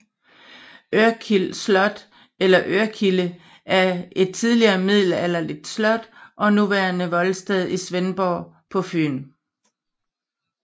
Ørkild Slot eller Ørkilde er et tidligere middelalderligt slot og nuværende voldsted i Svendborg på Fyn